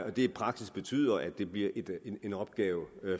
det i praksis betyder at det bliver en opgave